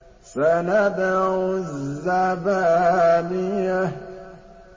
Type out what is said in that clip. سَنَدْعُ الزَّبَانِيَةَ